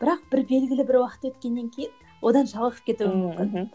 бірақ бір белгілі бір уақыт өткеннен кейін одан жалығып кетуім мүмкін мхм